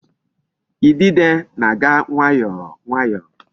Idide na-aga nwayọọ nwayọọ.